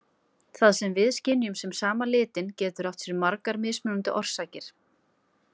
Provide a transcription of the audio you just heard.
Það sem við skynjum sem sama litinn getur átt sér margar mismunandi orsakir.